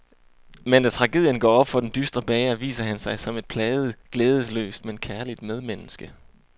Men da tragedien går op for den dystre bager, viser han sig som et plaget, glædesløst, men kærligt medmenneske.